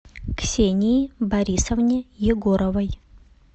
ксении борисовне егоровой